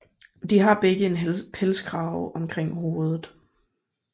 De har begge en pelskrave omkring hovedet